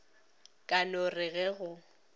ka no re ge go